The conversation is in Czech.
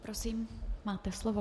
Prosím, máte slovo.